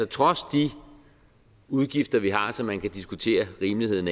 trods de udgifter vi har som man kan diskutere rimeligheden